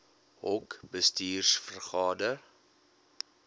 hoc bestuurs vergade